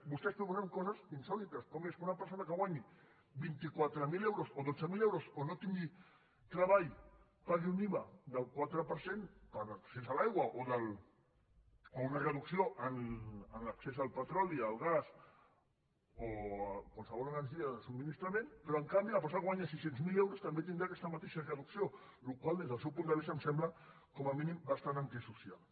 vostès proposen coses insòlites com és que una persona que guanyi vint quatre mil euros o dotze mil euros o no tingui treball pagui un iva del quatre per cent per accés a l’aigua o una reducció en l’accés al petroli al gas o a qualsevol energia de subministrament però en canvi la persona que guanyi sis cents miler euros també tindrà aquesta mateixa reducció la qual cosa des del seu punt de vista em sembla com a mínim bastant antisocial